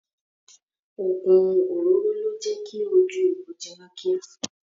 Ogun òróró le jẹ kí ojú egbò jiná kíá.